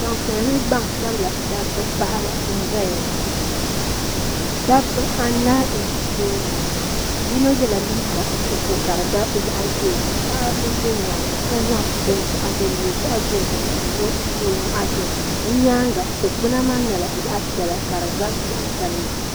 Gbampiɛla ni gbansabla dabba paɣaba n zaya ŋɔ dabba anahi n ʒi tooni ŋɔ yino yela liiga nuɣuso ka di gabi zaɣa ʒee paɣa m be nyaanga ŋɔ ka zaŋ binshaɣu din nyɛ zaɣa dozim n lo o nyɔɣu zuɣu o nyaanga dikpina maa nyɛla zaɣa piɛla n gari zaɣa sabila.